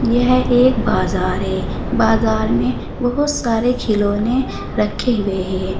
यह एक बाजार है बाजार में बहुत सारे खिलौने रखे हुए हैं।